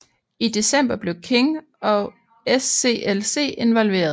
I december blev King og SCLC involveret